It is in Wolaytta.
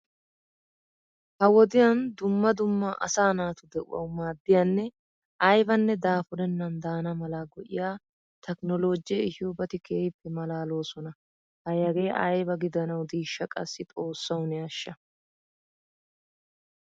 Ha wodiyaan dumma dumma asaa naatu de'uwawu maaddiyanne aybanne daafurennan daana mala go'iyaa takiloojee ehiyobati keehiippe maalaloosona. Hay hagee aybba gidanawu dishsha qassi xoossawu ne ashsha!!